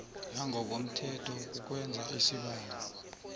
yangokomthetho kukwenza isibawo